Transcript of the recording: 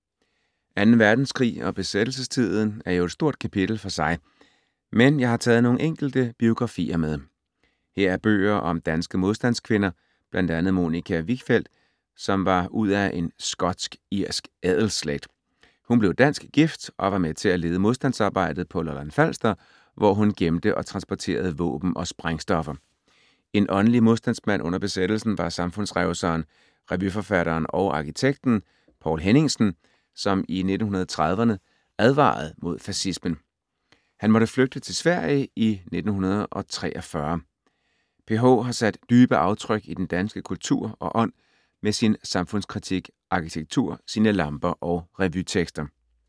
2. verdenskrig og besættelsestiden er jo et stort kapitel for sig, men jeg har taget nogle enkelte biografier med. Her er bøger om danske modstandskvinder, bl.a. Monica Wichfeld, som var ud af en skotsk-irsk adelsslægt. Hun blev dansk gift og var med til at lede modstandsarbejdet på Lolland-Falster, hvor hun gemte og transporterede våben og sprængstoffer. En åndelig modstandsmand under besættelsen var samfundsrevseren, revyforfatteren og arkitekten Poul Henningsen, som i 1930'erne advarede mod fascismen. Han måtte flygte til Sverige i 1943. PH har sat dybe aftryk i den danske kultur og ånd med sin samfundskritik, arkitektur, sine lamper og revytekster.